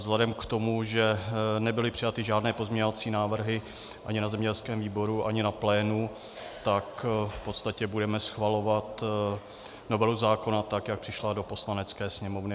Vzhledem k tomu, že nebyly přijaty žádné pozměňovací návrhy ani na zemědělském výboru, ani na plénu, tak v podstatě budeme schvalovat novelu zákona tak, jak přišla do Poslanecké sněmovny.